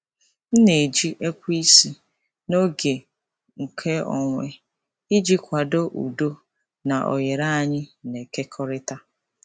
M na-eji ekweisi n'oge nkeonwe iji kwado udo na oghere anyị na-ekekọrịta.